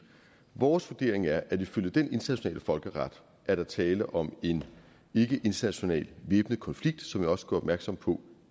vores vurdering er at ifølge den internationale folkeret er der tale om en ikkeinternational væbnet konflikt som jeg også gjorde opmærksom på